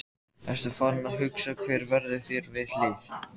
Ertu farinn að hugsa hver verður þér við hlið?